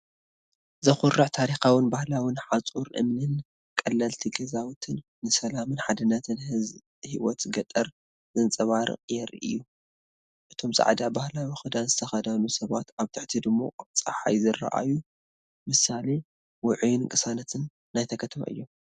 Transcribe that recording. ዘኹርዕ ታሪካውን ባህላዊን ሓጹር እምኒን ቀለልቲ ገዛውትን ንሰላምን ሓድነትን ህይወት ገጠር ዘንጸባርቑ የርእዩ። እቶም ጻዕዳ ባህላዊ ክዳን ዝተኸድኑ ሰባት፡ ኣብ ትሕቲ ድሙቕ ጸሓይ ዝረኣዩ፡ ምሳሌ ውዑይን ቅሳነትን ናይታ ከተማ እዮም።